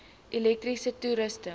elektriese toerusting